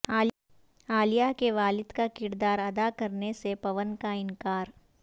عالیہ کے والد کا کرداراداکرنے سے پون کا انکار